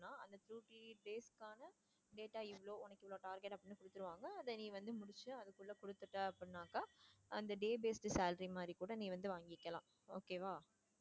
data இவ்ளோ உனக்கு இவ்ளோ target அப்படின்னு கொடுத்துடுவாங்க அத நீ வந்து முடிச்சு அதுக்குள்ள கொடுத்துட்ட அப்படின்னாக்கா அந்த day based salary மாதிரி கூட நீ வந்து வாங்கிக்கலாம் okay வா.